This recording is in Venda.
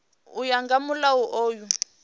u ya nga mulayo uyu